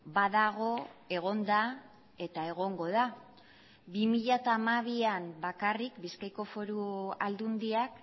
badago egon da eta egongo da bi mila hamabian bakarrik bizkaiko foru aldundiak